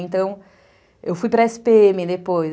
Então, eu fui pra esse pê eme depois.